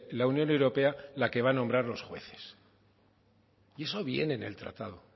la unión europea la que va a nombrar los jueces y eso viene en el tratado